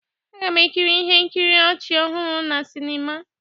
Aga m ekiri ihe nkiri ọchị ọhụrụ na sịnịma.